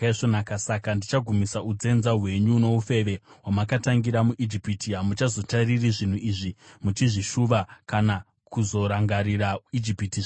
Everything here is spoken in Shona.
Saka ndichagumisa unzenza hwenyu noufeve hwamakatangira muIjipiti. Hamuchazotariri zvinhu izvi muchizvishuva kana kuzorangarira Ijipiti zvakare.